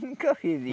Nunca fiz